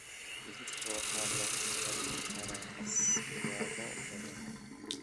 Digirta waxaa lagu kari karaa siyaabo badan.